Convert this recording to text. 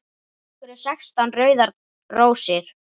Af hverju sextán rauðar rósir?